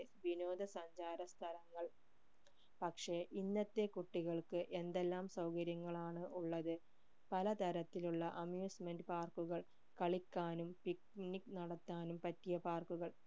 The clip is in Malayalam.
വിനോദ സഞ്ചാര സ്ഥലങ്ങൾ പക്ഷെ ഇന്നത്തെ എന്തെല്ലാം സൗകര്യങ്ങളാണ് ഉള്ളത് പലതരത്തിലുള്ള amusement park കൾ കളിക്കാനും picnic നടത്താനും പറ്റിയ park കൾ